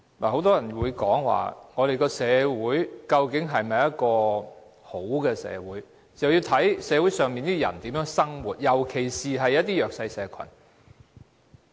很多人說我們的社會究竟是否一個好的社會，要視乎社會上的人如何生活，尤其是一些弱勢社群。